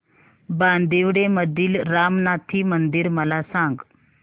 बांदिवडे मधील रामनाथी मंदिर मला सांग